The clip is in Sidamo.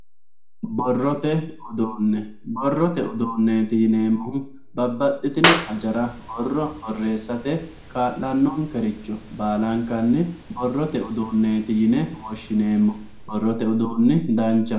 borrote uduune borrote uduuneeti yineemohu babbaxitino hajara borro borreesate kaa'lanokericho baalankanni borrote uduunet yine woshineemo borrote udunni danchaho.